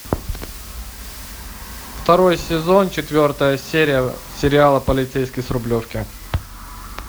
второй сезон четвертая серия сериала полицейский с рублевки